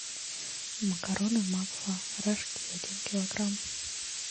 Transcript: макароны макфа рожки один килограмм